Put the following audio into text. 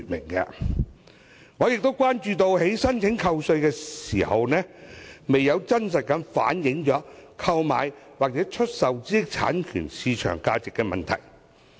我也關注另一問題，就是申請扣稅時，申請人可能未有真實反映所購買或出售的知識產權的市場價值。